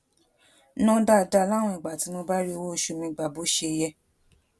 ná dáadáa láwọn ìgbà tí mi ò bá rí owó oṣù mi gbà bó ṣe yẹ